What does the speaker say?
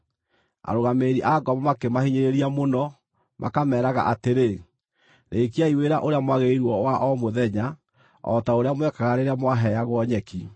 Arũgamĩrĩri a ngombo makĩmahinyĩrĩria mũno, makameeraga atĩrĩ, “Rĩĩkiai wĩra ũrĩa mwagĩrĩirwo wa o mũthenya, o ta ũrĩa mwekaga rĩrĩa mwaheagwo nyeki.”